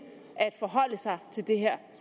at forholde sig til det her